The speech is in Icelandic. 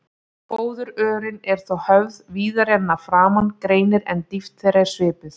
Fóðurrörin eru þá höfð víðari en að framan greinir, en dýpt þeirra er svipuð.